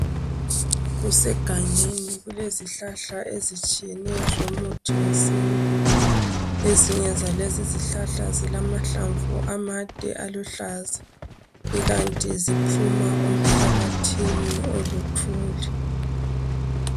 Kusegangeni kulezihlahlahla ezitshiyeneyo zomuthi wesintu. Ezinye zalezi zihlahla zilamahlamvu amade aluhlaza ikanti ziphuma emhlabathini oluthuli.